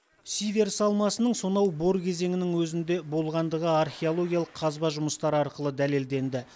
сиверс алмасының сонау бор кезеңінің өзінде болғаны археологиялық қазба жұмыстары арқылы дәлелденді